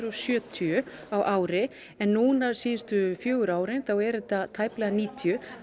og sjötíu á ári en síðustu fjögur árin eru þetta tæplega níutíu